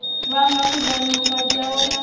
vhanga khudano vhukati hawe na